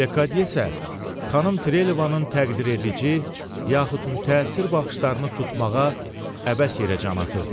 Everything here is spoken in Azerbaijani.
Lekadiye isə xanım Treyləvanın təqdir edici, yaxud mütəəssir baxışlarını tutmağa əbəs yerə can atırdı.